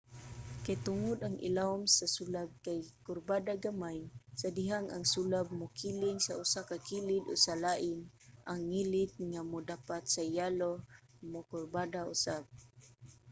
kay tungod ang ilawom sa sulab kay kurbada gamay sa dihang ang sulab mokiling sa usa ka kilid o sa lain ang ngilit nga modapat sa yelo mokurbada usab